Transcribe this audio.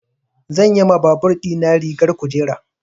Zan yi ma babur ɗina rigar kujera.